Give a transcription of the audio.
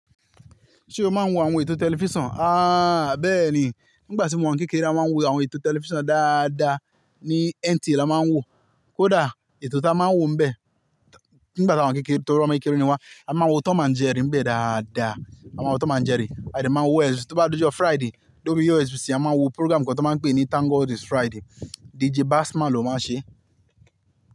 Ṣé o máa ń wo àwọn ètò tẹlifíṣàn? A bẹ́ẹ̀ni. Nígbà tí mo wà ní kékeré, a máa ń wo àwọn ètò tẹlifíṣàn dáadáa, ní NTA la máa ń wòó. Kódà ètò tí a máa ń wòó níbẹ̀, nígbà tí àwa kékeré torí wọ́n máa ń kíni wá, a máa ń wo Tom and Jerry níbẹ̀ dáadáa. A máa ń wo Tom and Jerry, à de máa ń wo Tó bá dijo Friday, lori OSBC a máa ń wo program kan ti won máa ń pè ní Thank God It's Friday. DJ Bassman ló máa ń ṣe é.